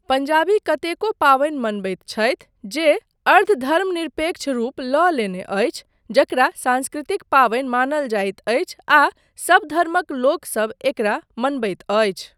पंजाबी कतेको पाबनि मनबैत छथि जे अर्ध धर्मनिरपेक्ष रूप लऽ लेने अछि जकरा सांस्कृतिक पाबनि मानल जाइत अछि आ सबधर्मक लोकसब एकरा मनबैत अछि।